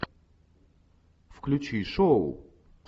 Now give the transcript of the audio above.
включи шоу